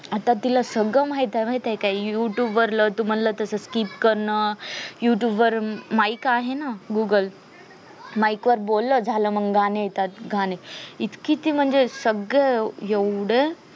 आता तिला सगळं माहित आहे माहित आहे का youtube वरल तू म्हणल तास skip करणं youtube वर mike आहे ना google mike वर बोल झालं मग म गाणे येतात गाणे इतकी ती म्हणजे सगळं